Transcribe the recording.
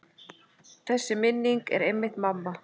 Þessi minning er einmitt mamma.